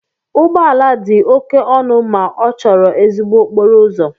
Ụgbọ ala dị oke ọnụ ma ọ chọrọ ezigbo okporo ụzọ.